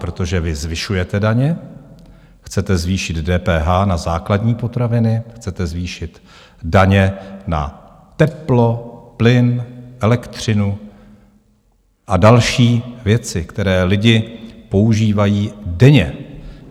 Protože vy zvyšujete daně, chcete zvýšit DPH na základní potraviny, chcete zvýšit daně na teplo, plyn, elektřinu a další věci, které lidi používají denně.